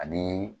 Ani